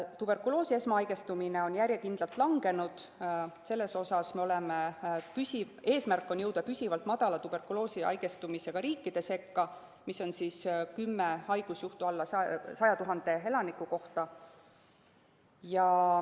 Tuberkuloosi esmahaigestumine on järjekindlalt langenud, meil on eesmärk jõuda püsivalt madala tuberkuloosi haigestumisega riikide sekka, mis on 10 haigusjuhtu 100 000 elaniku kohta.